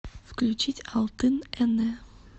включить алтын эне